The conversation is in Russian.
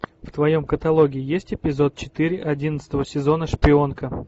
в твоем каталоге есть эпизод четыре одиннадцатого сезона шпионка